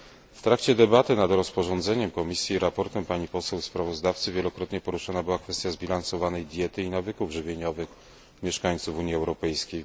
W trakcie debaty nad rozporządzeniem Komisji i raportem pani poseł sprawozdawcy wielokrotnie poruszona była kwestia zbilansowanej diety i nawyków żywieniowych mieszkańców Unii Europejskiej.